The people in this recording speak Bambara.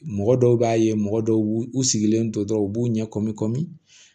Mɔgɔ dɔw b'a ye mɔgɔ dɔw u sigilen to dɔrɔn u b'u ɲɛ kɔmi kɔmi